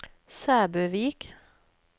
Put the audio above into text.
Sæbøvik